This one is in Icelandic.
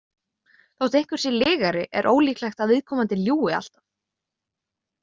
Þótt einhver sé lygari er ólíklegt að viðkomandi ljúgi alltaf.